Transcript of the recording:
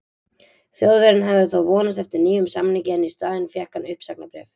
Þjóðverjinn hafði þó vonast eftir nýjum samningi en í staðinn fékk hann uppsagnarbréf.